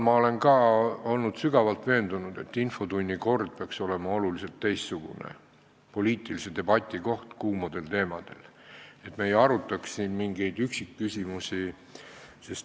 Ma olen olnud sügavalt veendunud, et infotunni kord peaks olema teistsugune, see peaks olema koht, kus saab pidada poliitilist debatti kuumadel teemadel, me ei peaks arutama siin mingeid üksikküsimusi.